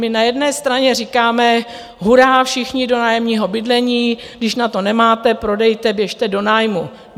My na jedné straně říkáme hurá, všichni do nájemního bydlení, když na to nemáte, prodejte, běžte do nájmu.